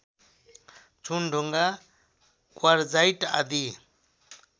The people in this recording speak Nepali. चुनढुङ्गा क्वार्जाइट आदि